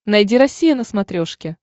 найди россия на смотрешке